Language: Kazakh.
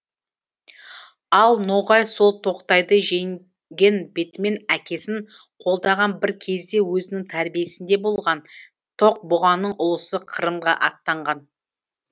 ал ноғай сол тоқтайды жеңген бетімен әкесін қолдаған бір кезде өзінің тәрбиесінде болған тоқ бұқаның ұлысы қырымға аттанған